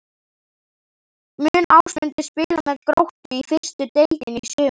Mun Ásmundur spila með Gróttu í fyrstu deildinni í sumar?